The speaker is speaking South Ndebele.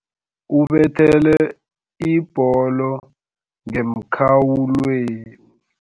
Ubethele ibholo ngemkhawulweni.